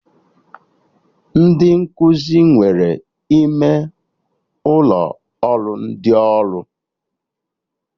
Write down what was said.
Ndị nkụzi nwere ime ụlọ ụrọ ndị ọrụ